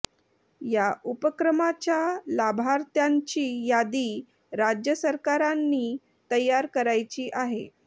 या उपक्रमाच्या लाभार्थ्यांची यादी राज्य सरकारांनी तयार करायची आहे